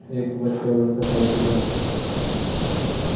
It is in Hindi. एक बच्चा भर का साइकिल है।